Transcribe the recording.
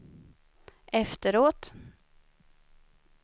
efteråt